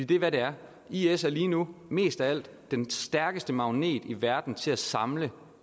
det er hvad det er is er lige nu mest af alt den stærkeste magnet i verden til at samle